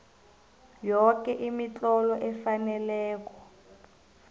yoke imitlolo efaneleko